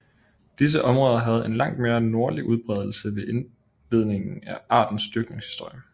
Disse områder havde en langt mere nordlig udbredelse ved indledningen af artens dyrkningshistorie